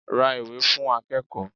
Ra ìwé fún akẹ́kọ̀ọ́.